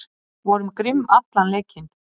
Vorum grimm allan leikinn